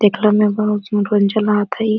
देखला मे बहुत मनोरंजन लागता इ।